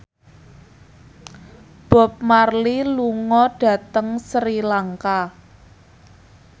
Bob Marley lunga dhateng Sri Lanka